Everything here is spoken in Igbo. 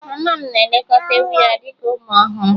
Mama m na-elekọta ewu ya dị ka ụmụ ọhụrụ.